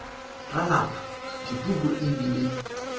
ra lapa dipuku e bile